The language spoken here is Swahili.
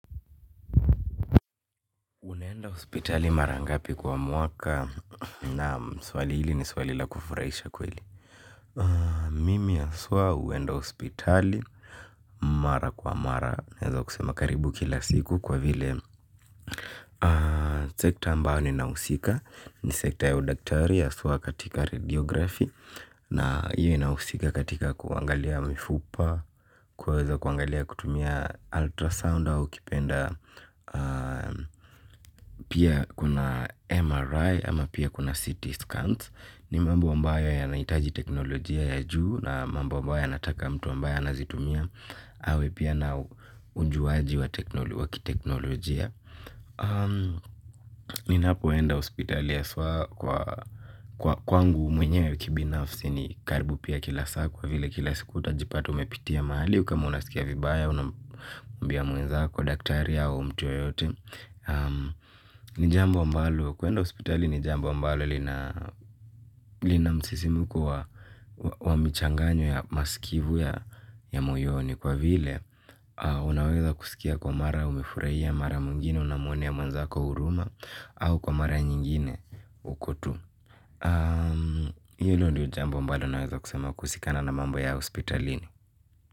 Unaenda hospitali mara ngapi kwa mwaka. Mimi haswa huenda hospitali mara kwa mara naweza kusema karibu kila siku kwa vile sekta ambayo ni nahusika. Ni sekta ya udaktari ya swa katika radiografi. Na hiyo inahusika katika kuangalia mifupa kwuweza kuangalia kutumia ultrasound au kipenda. Pia kuna MRI ama pia kuna CT scans. Ni mambo ambayo yanahitaji teknolojia ya juu. Na mambo ambayo yanataka mtu ambae ana zitumia awe pia na ujuaji wa kiteknolojia. Ninapoenda hospitali haswa kwa kwangu mwenyewe kibinafsi ni karibu pia kila saa kwa vile kila siku utajipata umepitia mahali kama unasikia vibaya unamwambia mwenzazo daktaria au mtu yoyote. Ni jambo ambalo, kwenda hospitali ni jambo ambalo lina msisimko wa wa michanganyo ya masikivu ya moyoni kwa vile unaweza kusikia kwa mara umefurahia mara mwigine unamuonea mwanzako huruma au kwa mara nyingine uko tu hilo ndio jambo ambalo naweza kusema kuhusikana na mambo ya hospitalini.